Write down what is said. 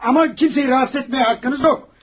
Amma kimsəni narahat etmə haqqınız yoxdur.